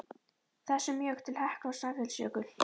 þessum mjög til Heklu og Snæfellsjökuls.